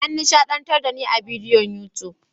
An nishadantar da ni a bidiyon YouTube.